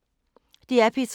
DR P3